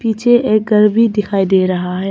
मुझे एक घर भी दिखाई दे रहा है।